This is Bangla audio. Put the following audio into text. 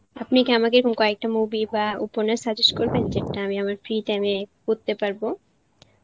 আপনি কি আমাকে এরকম কয়েকটা movie বা উপন্যাস suggest করবেন যেটা আমি আমার free time এ পড়তে পারবো?